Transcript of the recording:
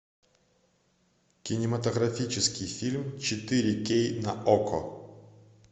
кинематографический фильм четыре кей на окко